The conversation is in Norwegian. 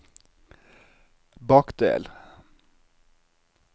bakdel